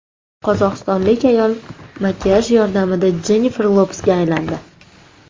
Qozog‘istonlik ayol makiyaj yordamida Jennifer Lopesga aylandi .